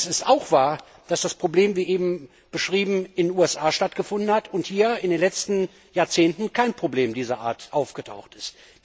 Allerdings ist auch wahr, dass das Problem, wie eben beschrieben, in den USA stattgefunden hat und hier in den letzten Jahrzehnten kein Problem dieser Art aufgetaucht ist.